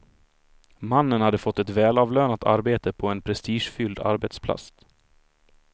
Mannen hade fått ett välavlönat arbete på en prestigefylld arbetsplats.